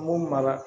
Mun mara